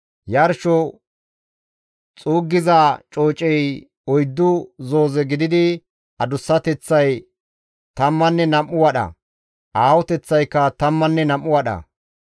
Yarsho xuuggiza coocey oyddu zooze gididi, adussateththay tammanne nam7u wadha, aahoteththaykka tammanne nam7u wadha.